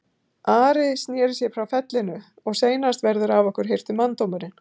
Ari sneri sér frá fellinu:-Og seinast verður af okkur hirtur manndómurinn.